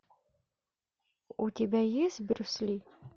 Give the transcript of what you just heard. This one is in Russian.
у тебя есть брюс ли